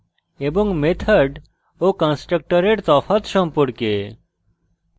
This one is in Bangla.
এবং method ও constructor তফাৎ সম্পর্কে